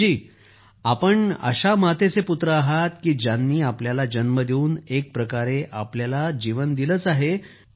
अभिजीत जी आपण अशा मातेचे पुत्र आहात की ज्यांनी आपल्याला जन्म देऊन एक प्रकारे आपल्याला जीवन दिलंच आहे